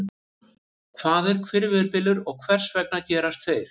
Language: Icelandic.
Hvað er hvirfilbylur og hvers vegna gerast þeir?